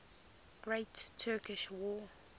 great turkish war